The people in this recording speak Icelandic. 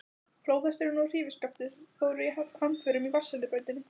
Flóðhesturinn og hrífuskaftið fóru hamförum í vatnsrennibrautinni.